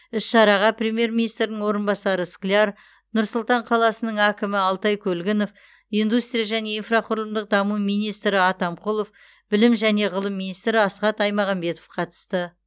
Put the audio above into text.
іс шараға премьер министрінің орынбасары скляр нұр сұлтан қаласының әкімі алтай көлгінов индустрия және инфрақұрылымдық даму министрі атамқұлов білім және ғылым министрі асхат аймағамбетов қатысты